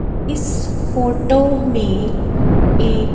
इस फोटो में एक--